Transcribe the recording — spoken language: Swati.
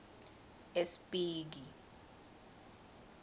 espiki